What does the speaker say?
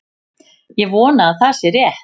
Ég vona að það sé rétt.